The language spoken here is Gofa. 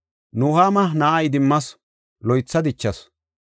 Nuhaama na7aa idimmasu; loytha dichasu.